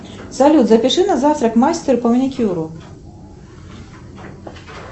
салют запиши на завтра к мастеру по маникюру